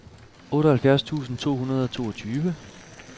otteoghalvfjerds tusind to hundrede og toogtyve